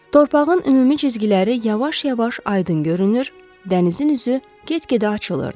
Torpağın ümumi cizgiləri yavaş-yavaş aydın görünür, dənizin üzü get-gedə açılırdı.